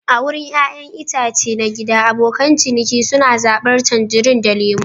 A wurin ƴaƴan itace na gida, abokan ciniki suna zabar tangerines da lemu.